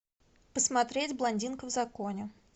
посмотреть блондинка в законе